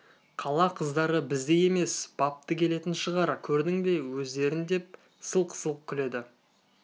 қала қыздары біздей емес бапты келетін шығар көрдің бе өздерін деп сылқ-сылқ күледі